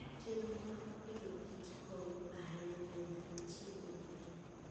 Chenro mag Agriculture and Foodgo konyo ahinya e nyago chiemo mang'eny.